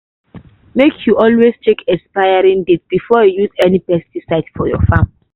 make you always check expiry date before you use any pesticide for your farm.